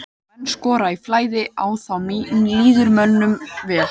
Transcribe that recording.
Þegar menn skora í flæði að þá líður mönnum vel.